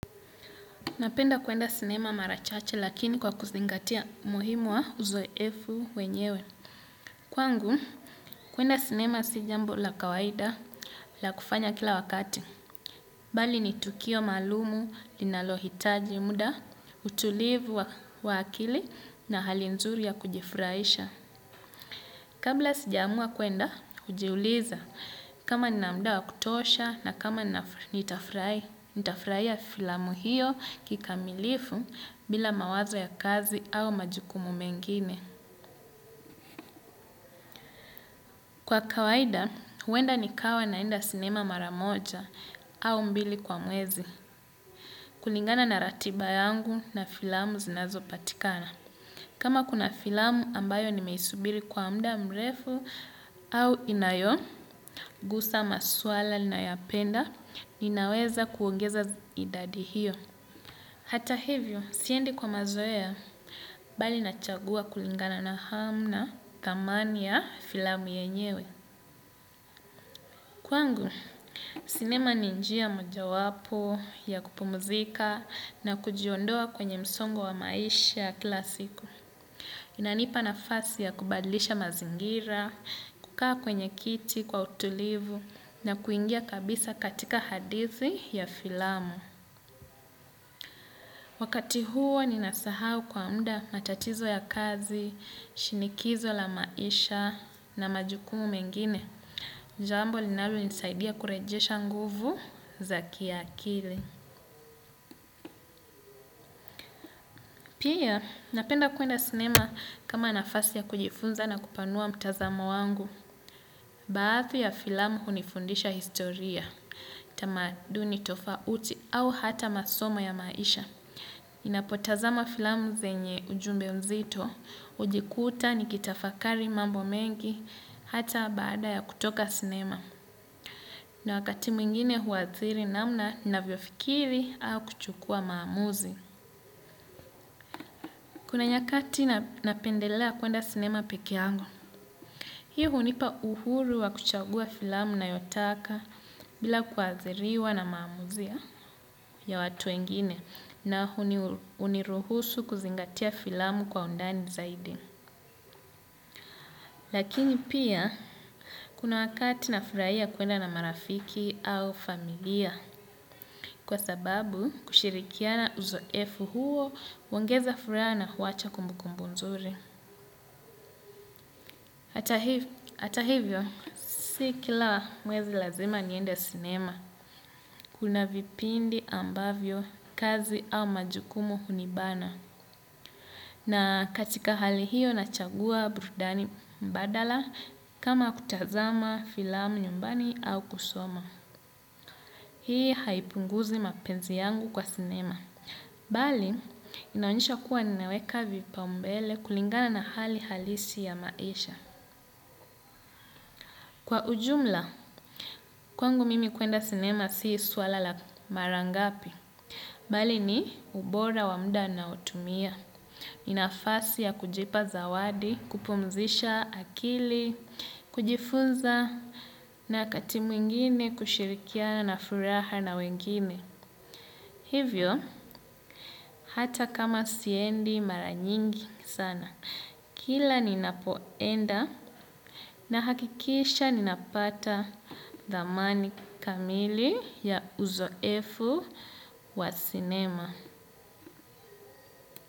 Napenda kwenda sinema marachache lakini kwa kuzingatia umuhimu wa uzoefu wenyewe. Kwangu, kwenda sinema sijambo la kawaida la kufanya kila wakati. Bali ni tukio maalumu, linalo hitaji muda, utulivu wa akili na hali nzuri ya kujifurahisha. Kabla sijamua kwenda, ujiuliza. Kama ninamda wa kutosha na kama nitafurahia filamu hiyo kikamilifu bila mawazo ya kazi au majukumu mengine. Kwa kawaida, huenda nikawa naenda sinema maramoja au mbili kwa mwezi. Kulingana na ratiba yangu na filamu zinazo patikana. Kama kuna filamu ambayo nimeisubiri kwa mda mrefu au inayo, gusa maswala na yapenda, ninaweza kuongeza idadi hiyo. Hata hivyo, siendi kwa mazoea, bali nachagua kulingana na hamna thamani ya filamu yenyewe. Kwangu, sinema ninjia moja wapo, ya kupu muzika, na kujiondoa kwenye msongo wa maisha kilasiku. Inanipa nafasi ya kubadlisha mazingira, kukaa kwenye kiti kwa utulivu na kuingia kabisa katika hadithi ya filamu. Wakati huo ni nasahau kwa mda matatizo ya kazi, shinikizo la maisha na majukumu mengine. Jambo linalonisaidia kurejesha nguvu za kiakili. Pia, napenda kwenda sinema kama nafasi ya kujifunza na kupanua mtazamo wangu. Baathi ya filamu unifundisha historia, tamaduni tofauti au hata masomo ya maisha. Ninapotazama filamu zenye ujumbe mzito, ujikuta ni kitafakari mambo mengi, hata baada ya kutoka sinema. Na wakati mwingine huadhiri namna na vyofikiri au kuchukua maamuzi. Kuna nyakati napendelea kwenda sinema peke yangu. Hii unipa uhuru wa kuchagua filamu na yotaka bila kuadhiriwa na maamuzi ya watu wengine na uniruhusu kuzingatia filamu kwa undani zaidi. Lakini pia kuna wakati na furahia kwenda na marafiki au familia kwa sababu kushirikiana uzoefu huo huongeza furaha na huacha kumbu kumbunzuri. Ata hivyo, si kila mwezi lazima niende sinema. Kuna vipindi ambavyo, kazi au majukumo hunibana. Na katika hali hiyo nachagua burudani mbadala kama kutazama filamu nyumbani au kusoma. Hii haipunguzi mapenzi yangu kwa sinema. Bali, inaonyesha kuwa ninaweka vipaumbele kulingana na hali halisi ya maisha. Kwa ujumla, kwangu mimi kwenda sinema si swala la marangapi, bali ni ubora wa mda ninaotumia, ninafasi ya kujipa zawadi, kupumzisha akili, kujifunza na wakati mwingine kushirikiana furaha na wengine. Hivyo, hata kama siendi maranyingi sana. Kila ninapoenda na hakikisha ninapata thamani kamili ya uzoefu wa sinema.